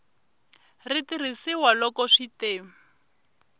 ri tirhisiwa loko swi te